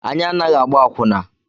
Anyị anaghị agba akwụna.